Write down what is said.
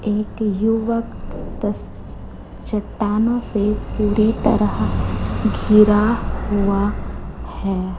एक युवक तस चट्टानों से पूरी तरह घिरा हुआ है।